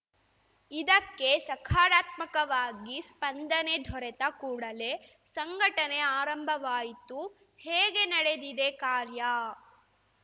ಇದಕ್ಕೆ ಸಕಾರಾತ್ಮಕವಾಗಿ ಸ್ಪಂದನೆ ದೊರೆತ ಕೂಡಲೇ ಸಂಘಟನೆ ಆರಂಭವಾಯಿತು ಹೇಗೆ ನಡೆದಿದೆ ಕಾರ್ಯ